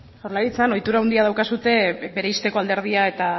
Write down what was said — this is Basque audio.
jaurlaritzan ohitura handia daukazue bereizteko alderdia eta